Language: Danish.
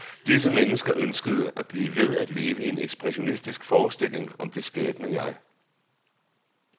Disse mennesker ønskede at blive ved at leve i en ekspressionistisk forestilling om det skabende jeg.